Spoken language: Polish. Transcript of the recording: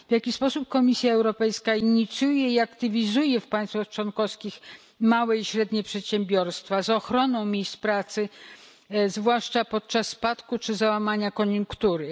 W jaki sposób Komisja Europejska inicjuje i aktywizuje w państwach członkowskich małe i średnie przedsiębiorstwa z ochroną miejsc pracy, zwłaszcza podczas spadku czy załamania koniunktury?